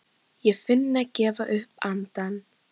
Ég finn það gefa upp andann.